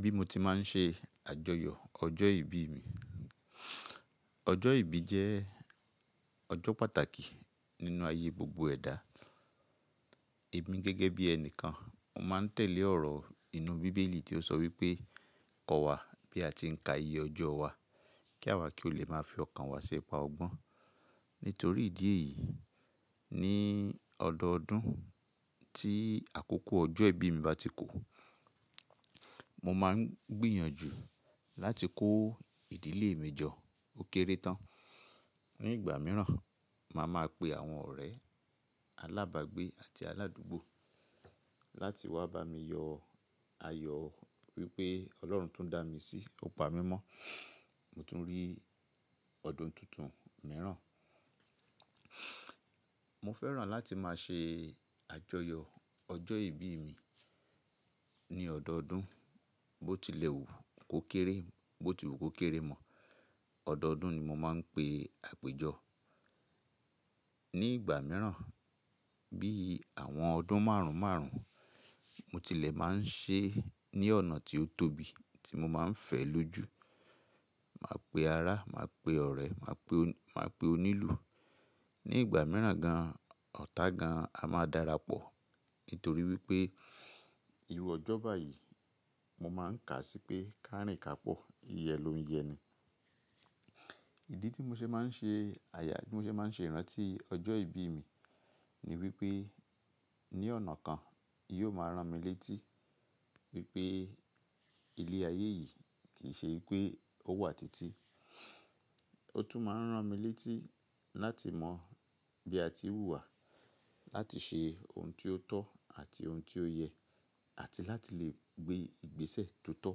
Bí mo ti máa ń ṣe àjọyọ̀ ọjọ́ ìbí mi. Ọjọ́ ìbí jẹ́ ọjọ́ pàtàkì nínú ayé gbogbo ẹ̀dá. Èmi gẹ́gẹ́ bí ẹni kan, mo máa ń tẹ̀lé ọ̀rọ̀ inú bíbélì tí ó sọ wípé “kọ́ wa bí a ti ń ka iye ọjọ́ wa, kí àwa kí ó lè máa fi ọkàn wa ṣi ipa ọgbọ́n”. Nítorí ìdí èyí, ní ọdọọdún tí àkókò ọjọ́ ìbí mi bá ti kò, mo máa ń gbìyànjú láti kó ìdílé mi jọ ó kéré tán. Ní ìgbà míràn, màá ma pe àwọn ọ̀rẹ́ alábàágbé àti aládùúgbò láti wá bá mi yọ ayọ̀ wípé Ọlọ́run tún dá mi sí, ó pa mí mọ́, mo tún rí ọdún tuntun míràn. Mo fẹ́ràn láti máa ṣe àjọyọ̀ ọjọ́ ìbí mi ní ọdọọdún, bó tilẹ̀ wù kó kéré, bó ti wù kó kéré mọ́, ọdọọdún ni mo máa ń pe àpèjọ. Ní ìgbà míràn, bí àwọn ọdún márùn márùn, mo tilẹ̀ máa ń ṣe ẹ́ ní ọ̀nà tí ó tóbi tí mo máa ń fẹ́ lójú. Màá pe ará, màá pe ọ̀rẹ́, màá pe onílù. Ní ìgbà míràn gan-an, ọ̀tá gan-an a máa darapọ̀ nítorí wípé ìry ọjọ́ báyìí mo máa ń kà sí pé kárìn ka pọ̀, yiye lo ń yẹni. Ìdí tí mo ṣe máa ń ṣe àyà, tí mo ṣe máa ń ṣe ìrántí ọjọ́ ìbí mi ni wípé ní ọ̀nà kan, yóò máa rán mi létí wípé ilé ayé yìí kì í ṣe wípé ó wà títí. Ó tún máa ń rán mi létí láti mọ bí a ti wùwá láti ṣe ohun tí ó tọ́ àti ohun tí ó yẹ, àti láti lè gbé ìgbésẹ̀ tó tọ́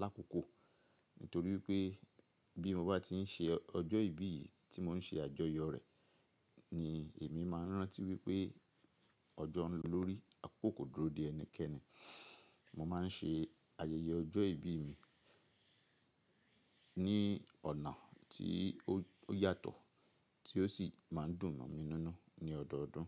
lákòókò. Nítorí wípé bí mo bá ti ń ṣe ọjọ́ ìbí yìí tí mò ń ṣe àjọyọ̀ rẹ̀ ni èmi máa ń rántí wípé ọjọ́ ń lọ lórí, àkokò kò dúró de ẹnikẹ́ni. Mo máa ń ṣe ayẹyẹ ọjọ́ ìbí mi ní ọ̀nà tí ó yàtọ̀ tí ó sì máa ń dùn mo mí nínu ní ọdọọdún.